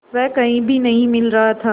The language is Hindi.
वह कहीं भी नहीं मिल रहा था